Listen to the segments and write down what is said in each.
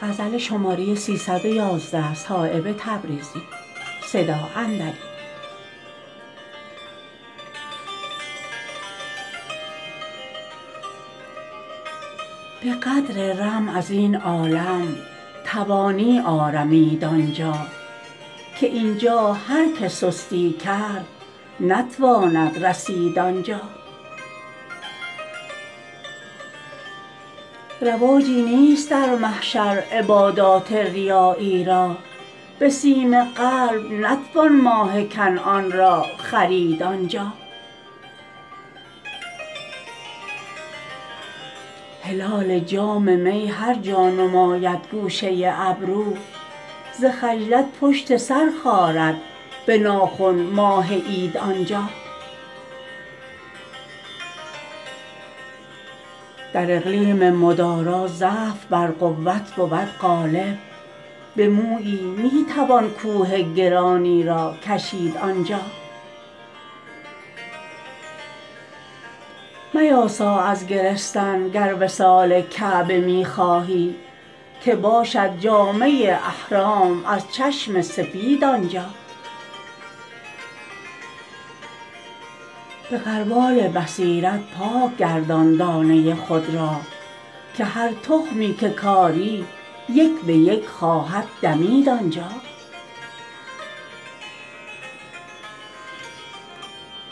به قدر رم ازین عالم توانی آرمید آنجا که اینجا هر که سستی کرد نتواند رسید آنجا رواجی نیست در محشر عبادات ریایی را به سیم قلب نتوان ماه کنعان را خرید آنجا هلال جام می هر جا نماید گوشه ابرو ز خجلت پشت سر خارد به ناخن ماه عید آنجا در اقلیم مدارا ضعف بر قوت بود غالب به مویی می توان کوه گرانی را کشید آنجا میاسا از گرستن گر وصال کعبه می خواهی که باشد جامه احرام از چشم سفید آنجا به غربال بصیرت پاک گردان دانه خود را که هر تخمی که کاری یک به یک خواهد دمید آنجا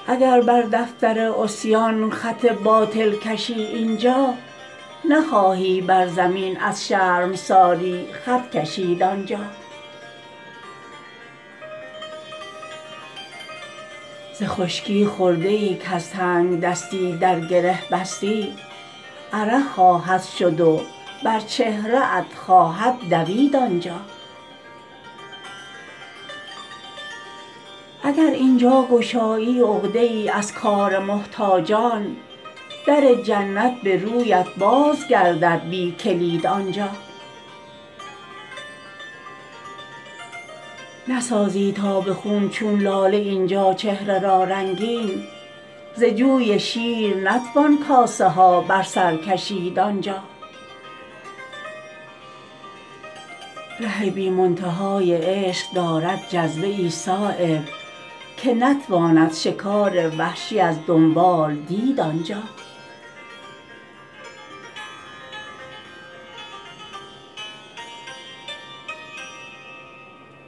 اگر بر دفتر عصیان خط باطل کشی اینجا نخواهی بر زمین از شرمساری خط کشید آنجا ز خشکی خرده ای کز تنگدستان در گره بستی عرق خواهد شد و بر چهره ات خواهد دوید آنجا اگر اینجا گشایی عقده ای از کار محتاجان در جنت به رویت باز گردد بی کلید آنجا نسازی تا به خون چون لاله اینجا چهره را رنگین ز جوی شیر نتوان کاسه ها بر سر کشید آنجا ره بی منتهای عشق دارد جذبه ای صایب که نتواند شکار وحشی از دنبال دید آنجا